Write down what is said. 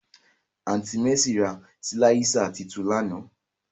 Aunti Mercy ra silạisa tuntun làná.